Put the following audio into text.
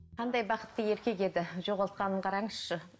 қандай бақытты еркек еді жоғалтқанын қараңызшы